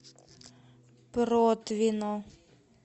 протвино